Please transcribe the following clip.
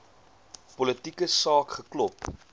politieke saak geklop